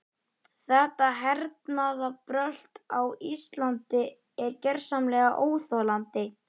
Þetta hernaðarbrölt á Íslandi er gersamlega óþolandi.